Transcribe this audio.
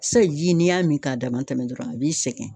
Sayi ji n'i y'a min k'a dama tɛmɛ dɔrɔn a b'i sɛgɛn